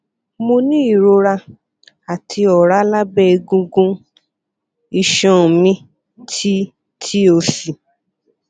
mo ni irora ati ọra labẹ egungun iṣan mi ti ti osi